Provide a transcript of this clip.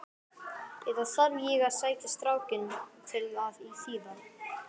Eða þarf ég að sækja strákinn til að þýða?